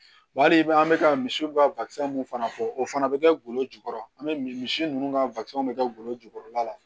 Wa hali i bɛ an bɛ ka misiw ka mun fana fɔ o fana bɛ kɛ golo jukɔrɔ an bɛ misi ninnu ka bɛ kɛ golo jukɔrɔla la